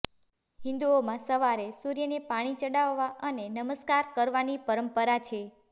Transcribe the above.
હિંદુઓમાં સવારે સૂર્યને પાણી ચડાવવા અને નમસ્કાર કરવાની પરંપરા છે